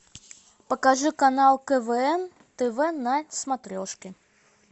покажи канал квн тв на смотрешке